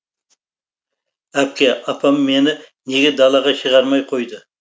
әпке апам мені неге далаға шығармай қойды